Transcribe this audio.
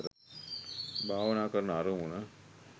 භාවනා කරන අරමුණ